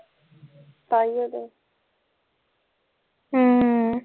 ਤਾਇਓ ਤੇ